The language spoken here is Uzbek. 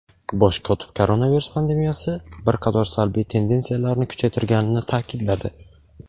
Bosh kotib koronavirus pandemiyasi bir qator salbiy tendensiyalarni kuchaytirganini ta’kidladi.